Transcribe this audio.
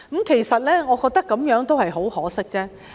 其實，我覺得這樣甚為可惜。